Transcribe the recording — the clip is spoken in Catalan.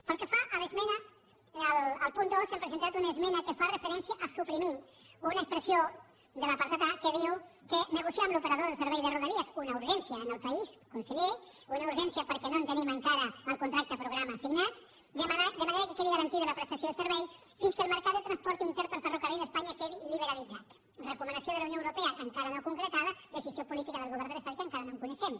pel que fa al punt dos hem presentat una esmena que fa referència a suprimir una expressió de l’apartat a que diu negociar amb l’operador del servei de rodalies una urgència en el país conseller una urgència perquè no tenim encara el contracte programa signat de manera que quedi garantida la prestació del servei fins que el mercat de transport intern per ferrocarril a espanya quedi liberalitzat recomanació de la unió europea encara no concretada decisió política del govern de l’estat que encara no coneixem